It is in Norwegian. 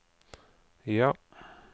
ja